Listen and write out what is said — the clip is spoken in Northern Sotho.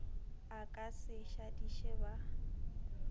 a ka se šadiše ba